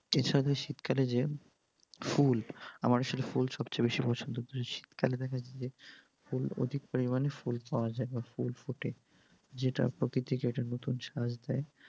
এছাড়া শীতকালে যে ফুল, আমার আসলে ফুল সবচেয়ে বেশি পছন্দ । শীতকালে দেখবেন যে ফুল অধিক পরিমাণে ফুল পাওয়া যায় বা ফুল ফুটে, যেটা প্রকৃতিকে একটা নুতুন সাজ দেয়।